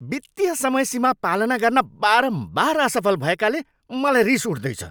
वित्तीय समयसीमा पालना गर्न बारम्बार असफल भएकाले मलाई रिस उठ्दैछ।